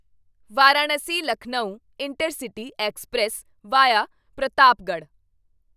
Varanasi Lucknow intercity express via Pratapgarh